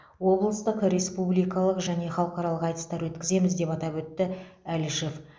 облыстық республикалық және халықаралық айтыстар өткіземіз деп атап өтті әлішев